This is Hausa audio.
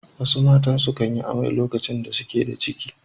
Wasu matan sukan yi amai lokacin da suke da ciki.